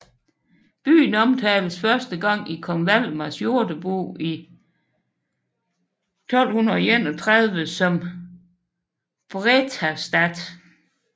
Byen omtales første gang i kong Valdemars Jordebog i 1231 som Brethaestath